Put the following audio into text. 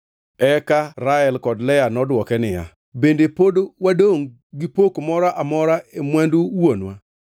Eka Rael kod Lea nodwoke niya, “Bende pod wadongʼ gi pok moro amora e mwandu wuonwa?